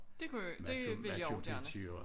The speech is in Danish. Det kunne det ville jeg og gerne